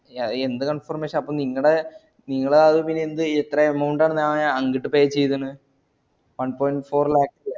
ആഹ് അത് എന്ത് confirmation അപ്പോ നിങ്ങടെ നിങ്ങൾ ആഹ് പിന്നെ എന്ത് എത്ര amount ആണ് ഞാൻ അങ്ങട്ട് pay ചെയ്തിണ് one point four lakhs